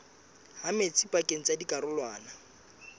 ha metsi pakeng tsa dikarolwana